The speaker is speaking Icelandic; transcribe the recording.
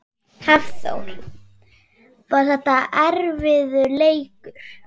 Hafþór: Var þetta erfiður leikur?